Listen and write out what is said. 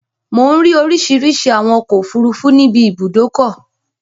Mò ń rí oríṣìíríṣìí àwọn ọkọ̀-òfurufú níbi ibùdókọ.